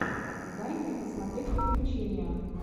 дай мне посмотреть приключения